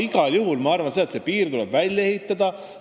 Igal juhul ma arvan, see piir tuleb välja ehitada.